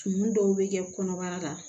Tumu dɔw bɛ kɛ kɔnɔbara la